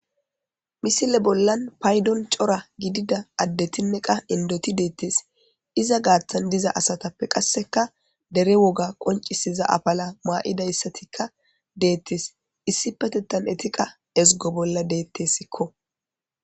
misile bollan paydon cora gidida addetinne qa indoti deettes iza gaaththan diza asatappe qasseka dere woga qoncisiza apala maa'idayssatikka deettes issipetetan eti qa ezgo bolla deettessikko